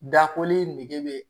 Dakoli nege bɛ yen